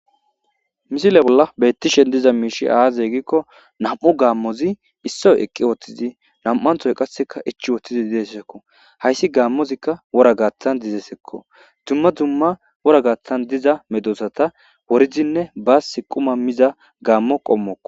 misile bolla beettishe diza miishi aaze gikko nam'u gaammozikka issoy eqqi woothtizi nam'anthoy qasseka ichi wooththizi ideesshekko hayssi gaammozikka wora gaaththan dizesekko dumma dumma wora gaathtan diza medosata worizinne baas quma miza gaammo qommokko